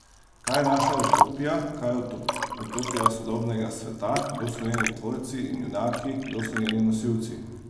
Kaj je naša utopija, kaj je utopija sodobnega sveta, kdo so njeni tvorci in junaki, kdo so njeni nosilci?